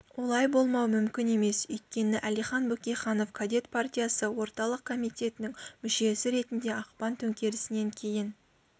олай болмауы мүмкін емес өйткені әлихан бөкейханов кадет партиясы орталық комитетінің мүшесі ретінде ақпан төңкерісінен кейін